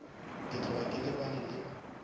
ke tloga ke lebane le